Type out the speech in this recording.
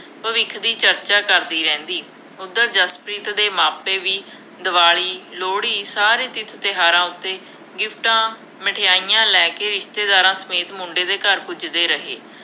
ਭਵਿੱਖ ਦੀ ਚਰਚਾ ਕਰਦੀ ਰਹਿੰਦੀ, ਉੱਧਰ ਜਸਪ੍ਰੀਤ ਦੇ ਮਾਪੇ ਵੀ ਦੀਵਾਲੀ, ਲੋਹੜੀ, ਸਾਰੇ ਤੀਰਥ-ਤਿਉਹਾਰਾਂ ਉੱਤੇ ਗਿਫਟਾਂ, ਮਠਿਆਈਆ ਲੈ ਕੇ ਰਿਸ਼ਤੇਦਾਰਾਂ ਸਮੇਤ ਮੁੰਡੇ ਦੇ ਘਰ ਪੁੱਜਦੇ ਰਹੇ।